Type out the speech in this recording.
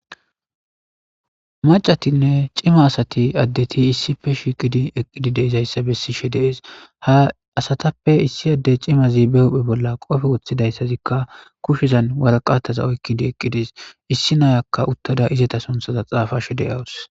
Macatinne cima asati addeti issife shiqidi eqqidi deizayssa bessishe dees ha asatappe issi adde cimazi be hophphe bolla qofe woththidayssazikka kushizan waraqataza oykidi eqqidis issi nayakka uttada izata sonthaza xaafashe de7awus.